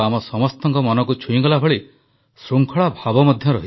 ଆଗାମୀ ପୋଷଣ ମାସକୁ ଜନ ଆନ୍ଦୋଳନର ରୂପ ଦେବାପାଇଁ ଦେଶବାସୀଙ୍କୁ ପ୍ରଧାନମନ୍ତ୍ରୀଙ୍କ ନିବେଦନ